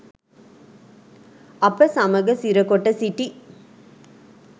අප සමග සිරකොට සිටි